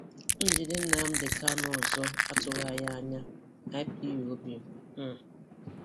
Njide Nnamdi Kanu Kanu ọzọ atụghị anyị anya - Ipob um